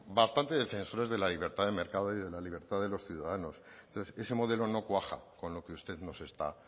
bastante defensores de la libertad de mercado y de la libertad de los ciudadanos entonces ese modelo no cuaja con lo que usted nos está